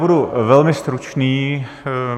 Budu velmi stručný.